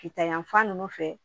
Kita yanfan nunnu fɛ